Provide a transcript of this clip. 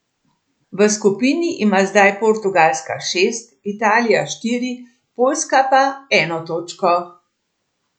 V skupini ima zdaj Portugalska šest, Italija štiri, Poljska pa eno točko.